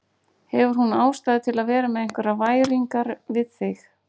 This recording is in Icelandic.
Hefur hún ástæðu til að vera með einhverjar væringar við þig?